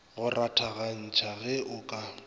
go rathagantšha ge o ka